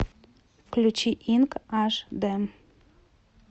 включи инк аш д